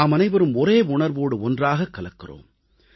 நாமனைவரும் ஒரே உணர்வோடு ஒன்றாகக் கலக்கிறோம்